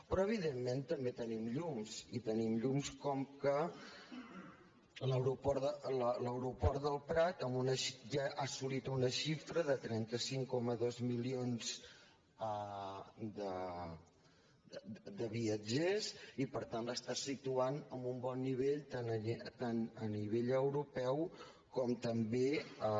però evidentment també tenim llums i tenim llums com que l’aeroport del prat ja ha assolit una xifra de trenta cinc coma dos milions de viatgers i per tant l’està situant en un bon nivell tant a nivell europeu com també a